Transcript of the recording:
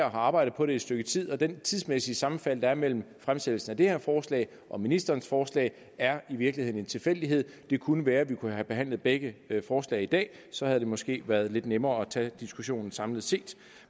og har arbejdet på det et stykke tid og det tidsmæssige sammenfald der er mellem fremsættelsen af det her forslag og ministerens forslag er i virkeligheden en tilfældighed det kunne være at vi kunne have behandlet begge forslag i dag så havde det måske været lidt nemmere at tage diskussionen samlet set